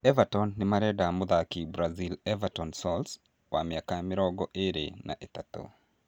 Everton nomarenda mũthaki brazil Everton Soares wa mĩaka mĩrongo ĩĩrĩ na ĩtatũ